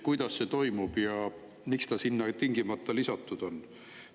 Kuidas see toimub ja miks Süüria sinna lisatud on?